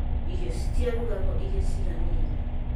Irio citirugagwo iria ciiganĩire